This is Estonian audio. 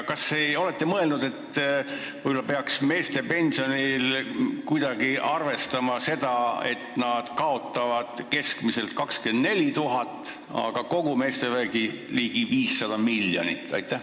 Kas te olete mõelnud, et võib-olla peaks meeste pensioni puhul kuidagi arvestama, et nad kaotavad keskmiselt 24 000 eurot, aga kogu meestevägi ligi 500 miljonit?